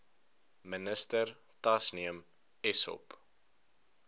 minister tasneem essop